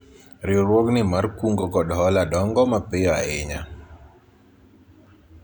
riwruogni mar kungo kod hola dongo mapiyo ahinya